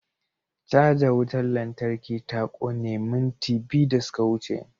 Caja wutar lantarki ta kone minti biyu da suka wuce.